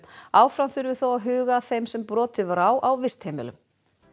áfram þurfi þó að huga að þeim sem brotið var á á vistheimilum